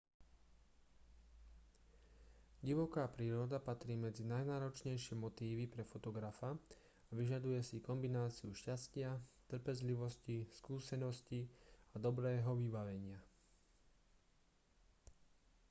divoká príroda patrí medzi najnáročnejšie motívy pre fotografa a vyžaduje si kombináciu šťastia trpezlivosti skúseností a dobrého vybavenia